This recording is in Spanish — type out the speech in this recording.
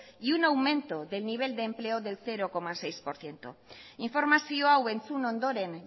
y un aumento del nivel de empleo del cero coma seis por ciento informazio hau entzun ondoren